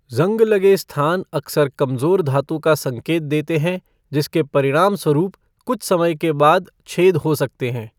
ज़ंग लगे स्थान अक्सर कमज़ोर धातु का संकेत देते हैं, जिसके परिणामस्वरूप कुछ समय के बाद छेद हो सकते हैं।